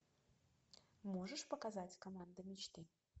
можешь показать команда мечты